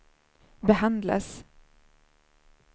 behandlas